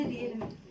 Rabbimə nə deyim?